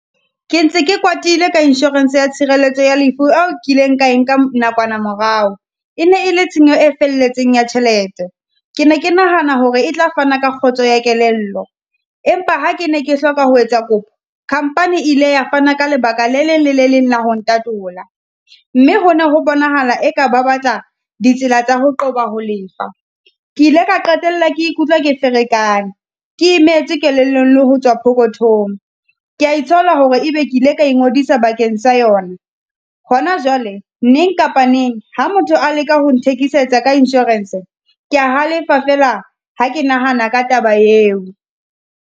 Ke ntse ke kwatile ka insurance ya tshireletso ya lefu eo nkileng ka enka nakwana morao. E ne e le tshenyo e felletseng ya tjhelete, ke ne ke nahana hore e tla fana ka kgotso ya kelello, empa ha ke ne ke hloka ho etsa kopo. Company e ile ya fana ka lebaka le leng le le leng la ho ntatola, mme hona ho bonahala eka ba batla ditsela tsa ho qoba ho lefa. Ke ile ka qetella ke ikutlwa ke ferekane, ke imetswe kelellong le ho tswa pokothong. Ke ya itshola hore ebe ke ile ka ingodisa bakeng sa yona. Hona jwale neng kapa neng, ha motho a leka ho nthekisetsang ka insurance, ke ya halefa fela ha ke nahana ka taba eo.